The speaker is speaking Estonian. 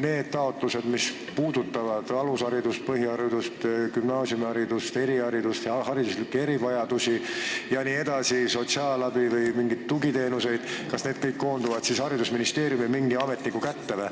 need taotlused, mis puudutavad alusharidust, põhiharidust, gümnaasiumiharidust, eriharidust, hariduslikke erivajadusi, sotsiaalabi või mingeid tugiteenuseid, lähevad haridusministeeriumi mingi ametniku kätte?